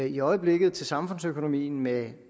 i øjeblikket til samfundsøkonomien med